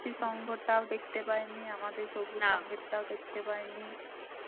সংঘ তাও দেখতে পাইনি. আমাদের সবুজ সংগীতটাও দেখতে পাইনি